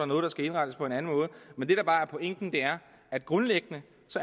noget der skal indrettes på en anden måde men det der bare er pointen er at grundlæggende